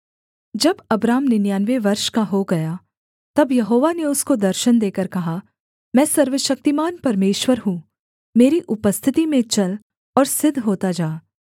जब अब्राम निन्यानवे वर्ष का हो गया तब यहोवा ने उसको दर्शन देकर कहा मैं सर्वशक्तिमान परमेश्वर हूँ मेरी उपस्थिति में चल और सिद्ध होता जा